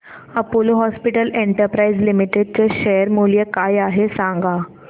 Apollo hospitals enterprise limited चे शेअर मूल्य काय आहे सांगा